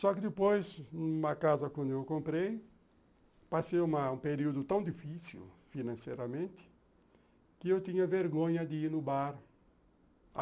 Só que depois, numa casa que eu comprei, passei uma um período tão difícil, financeiramente, que eu tinha vergonha de ir no bar.